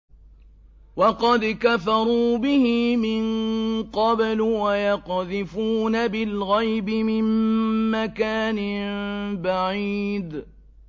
وَقَدْ كَفَرُوا بِهِ مِن قَبْلُ ۖ وَيَقْذِفُونَ بِالْغَيْبِ مِن مَّكَانٍ بَعِيدٍ